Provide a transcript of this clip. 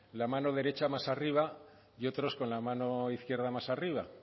la mano derecha más arriba y otros con la mano izquierda más arriba